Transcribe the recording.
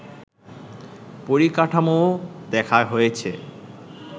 পরিকাঠামোও দেখা হয়েছে